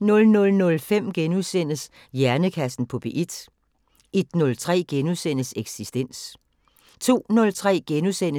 00:05: Hjernekassen på P1 * 01:03: Eksistens * 02:03: